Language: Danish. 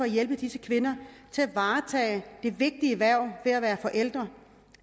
hjælpe disse kvinder til at varetage det vigtige hverv det er at være forælder